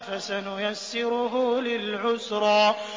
فَسَنُيَسِّرُهُ لِلْعُسْرَىٰ